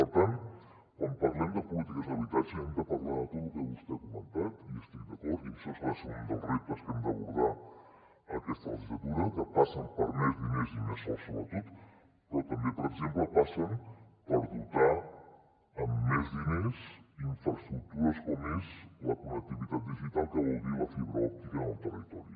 per tant quan parlem de polítiques d’habitatge hem de parlar de tot el que vostè ha comentat hi estic d’acord això s’ha de ser un dels reptes que hem d’abordar aquesta legislatura que passen per més diners i més sòl sobretot però també per exemple de dotar amb més diners infraestructures com la connectivitat digital que vol dir la fibra òptica en el territori